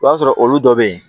I b'a sɔrɔ olu dɔ bɛ yen